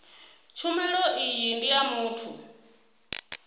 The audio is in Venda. tshumelo iyi ndi ya muthu